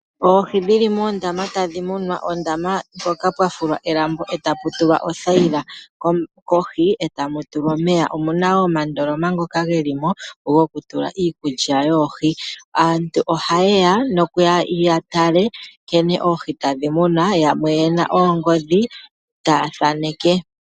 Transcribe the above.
Oohi dhi li muundama tadhi munwa, ondama mpoka pwa fulwa elambo e tapu tulwa othayila kohi e tamu tulwa omeya. Omu na wo omandoloma ngoka ge li mo gokutula iikulya yoohi. Aantu ohaye ya nokuya ya tale nkene oohi tadhi munwa, yamwe ye na oongodhi taya thaneke.